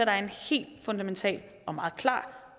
er en helt fundamental og meget klar